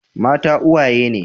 Mata uwaye ne.